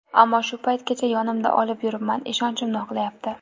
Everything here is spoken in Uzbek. Ammo shu paytgacha yonimda olib yuribman, ishonchimni oqlayapti.